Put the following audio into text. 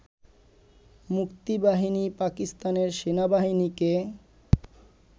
মুক্তিবাহিনী পাকিস্তানের সেনাবাহিনীকে